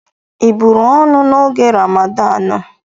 Ị buru ọnụ n'oge Ramadanu?